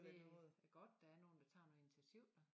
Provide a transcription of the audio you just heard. Det det godt der er nogen der tager noget initiativ